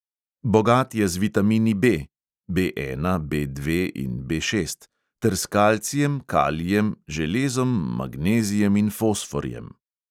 Bogat je z vitamini B (B ena, B dve in B šest) ter s kalcijem, kalijem, železom, magnezijem in fosforjem.